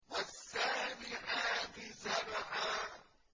وَالسَّابِحَاتِ سَبْحًا